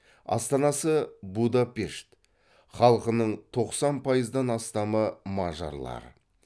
астанасы будапешт халқының тоқсан пайыздан астамы мажарлар